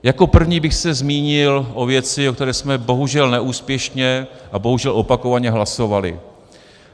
Jako první bych se zmínil o věci, o které jsme bohužel neúspěšně a bohužel opakovaně hlasovali.